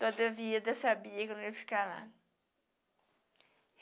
Toda vida eu sabia que eu não ia ficar lá.